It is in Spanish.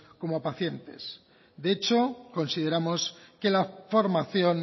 como a pacientes de hecho consideramos que la formación